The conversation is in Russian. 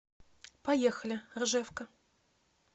поехали ржевка